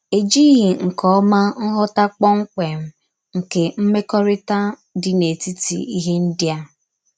Èjíghí nke ọma nghọ̀tà kpọ́mkpém nke mmèkòrítà dì n’etítì íhè ndí a.